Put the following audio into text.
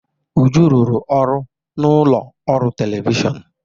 Uju rụrụ ọrụ n'ụlọ ọrụ telivishọn.